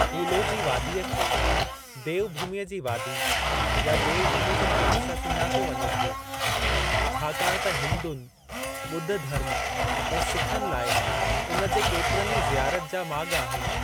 कूलो जे वादीअ खे देव भूमीअ जी वादी या देव भूमी जे नाले सां सुञातो वञे थो छाकाणि त हिन्दुनि, ॿुधु धर्म ऐं सिखनि लाइ उन जे केतिरनि ई ज़ियारत जा माॻ आहिनि।